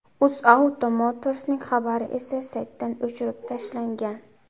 UzAuto Motors’ning xabari esa saytdan o‘chirib tashlangan.